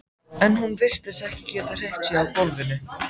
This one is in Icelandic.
En hún virtist ekki geta hreyft sig á gólfinu.